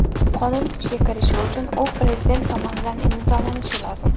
Qonun kuchga kirishi uchun u Prezident tomonidan imzolanishi lozim.